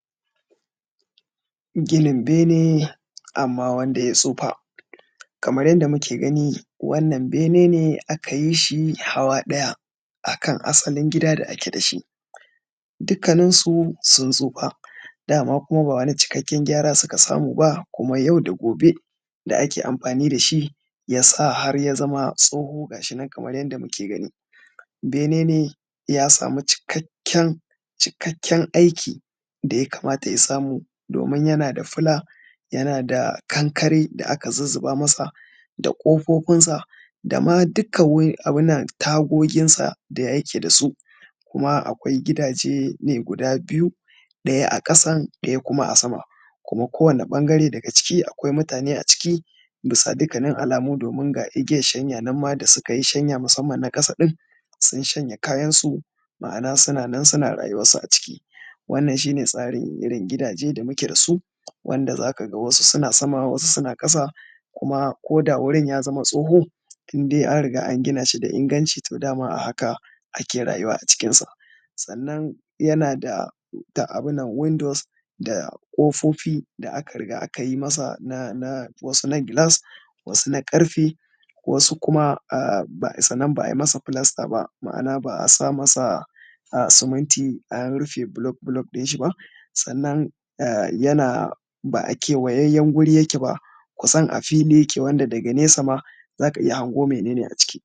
Ginin bene amma wanda ya tsufa. Kamar yanda muke gani wannan bene ne aka yi shi hawa ɗaya akan asalin gida da ake da shi, dukanin su sun tsufa, dama kuma ba wani cikakken gyara suka samu ba, kuma yau da gobe da ake amfani da shi ya sa har ya zama tsoho ga shi nan kamar yanda muke gani. Bene ne ya samu cikakken cikakken aiki da ya kamata ya samu domin yana da fila yana da kankare da aka zuzzuba masa da ƙofofinsa da ma dukka wuri abun nan tagoginsa da ya yake da su. Kuma akwai gidaje ne guda biyu, ɗaya a ƙasan ɗaya kuma a sama, amma kowane ɓangare aciki akwai mutane aciki, bisa dukkanin alamu domin ga igiyan shanya nan ma da suka yi shanya musamman na ƙasa sun shanya kayansu, ma’ana suna nan suna rayuwarsu aciki. Wannan shi ne tsarin irin gidaje da muke da su, wanda za ka ga wasu suna sama, wasu suna ƙasa. Kuma ko da wurin ya zama tsoho, indai an riga an gina shi da inganci, to dama a haka ake rayuwa acikinsa. Sannan yana da ta abun nan windows da ƙofofi da aka riga aka yi masa na na, wasu na gilas, wasu na ƙarfe, wasu kuma ah sannan ba a masa filasta ba, ma’ana ba a sa masa suminti an rufe block block ɗin shi ba. Sannan ba a kewayayyen guri yake ba, kusan a fili yake wanda daga nesa ma za ka iya hango mene ne a can.